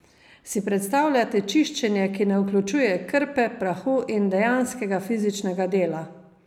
Si predstavljate čiščenje, ki ne vključuje krpe, prahu in dejanskega fizičnega dela?